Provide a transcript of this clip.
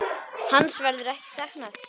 Hans verður ekki saknað.